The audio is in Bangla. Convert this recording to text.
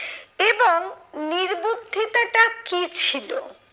এবং নির্বুদ্ধিতাটা কি ছিল?